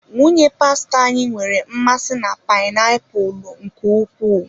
Nwunye pastọ anyị nwere mmasị na painiapulu nke ukwuu.